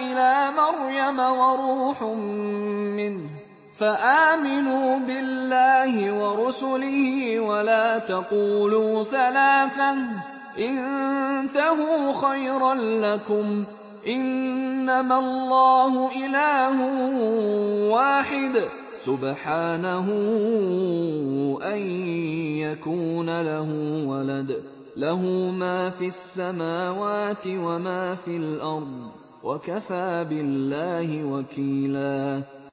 إِلَىٰ مَرْيَمَ وَرُوحٌ مِّنْهُ ۖ فَآمِنُوا بِاللَّهِ وَرُسُلِهِ ۖ وَلَا تَقُولُوا ثَلَاثَةٌ ۚ انتَهُوا خَيْرًا لَّكُمْ ۚ إِنَّمَا اللَّهُ إِلَٰهٌ وَاحِدٌ ۖ سُبْحَانَهُ أَن يَكُونَ لَهُ وَلَدٌ ۘ لَّهُ مَا فِي السَّمَاوَاتِ وَمَا فِي الْأَرْضِ ۗ وَكَفَىٰ بِاللَّهِ وَكِيلًا